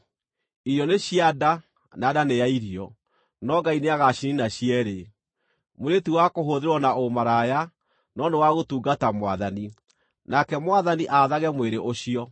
“Irio nĩ cia nda na nda nĩ ya irio,” no Ngai nĩagaciniina cierĩ. Mwĩrĩ ti wa kũhũthĩrwo na ũmaraya, no nĩ wa gũtungata Mwathani, nake Mwathani aathage mwĩrĩ ũcio.